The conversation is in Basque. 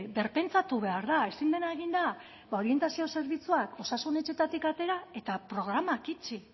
berpentsatu behar da ezin dena egin da ba orientazio zerbitzuak osasun etxeetatik atera eta programak itxi